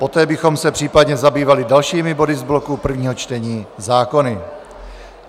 Poté bychom se případně zabývali dalšími body z bloku prvního čtení, zákony.